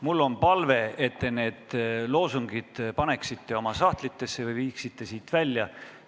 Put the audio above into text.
Mul on palve, et te need loosungid paneksite oma sahtlitesse või viiksite siit välja.